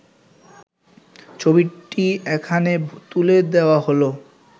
ছবিটি এখানে তুলে দেওয়া হল